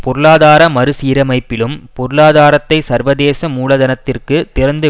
பொருளாதார மறு சீரமைப்பிலும் பொருளாதாரத்தை சர்வதேச மூலதனத்திற்கு திறந்து